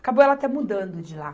Acabou ela até mudando de lá.